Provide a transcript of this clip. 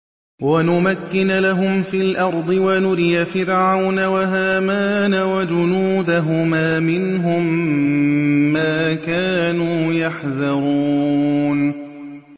وَنُمَكِّنَ لَهُمْ فِي الْأَرْضِ وَنُرِيَ فِرْعَوْنَ وَهَامَانَ وَجُنُودَهُمَا مِنْهُم مَّا كَانُوا يَحْذَرُونَ